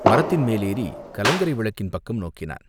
மரத்தின் மேலேறிக் கலங்கரை விளக்கின் பக்கம் நோக்கினான்.